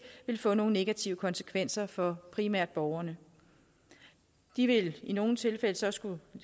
ville få nogle negative konsekvenser for primært borgerne de ville i nogle tilfælde så skulle